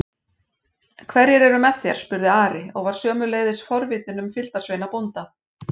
Hverjir er með þér? spurði Ari og var sömuleiðis forvitinn um fylgdarsveina bónda.